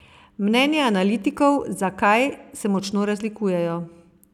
Mnenja analitikov, zakaj, se močno razlikujejo.